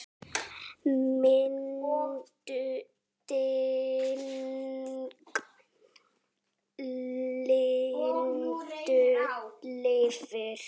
Minning Lindu lifir.